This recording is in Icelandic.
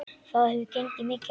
Það hefur gengið mikið á!